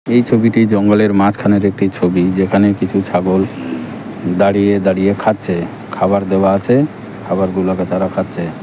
এই ছবিটি জঙ্গলের মাঝখানের একটি ছবি যেখানে কিছু ছাগল দাঁড়িয়ে দাঁড়িয়ে খাচ্ছে খাবার দেওয়া আছে খাবারগুলোকে তারা খাচ্ছে।